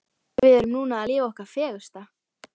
Við erum núna að lifa okkar fegursta.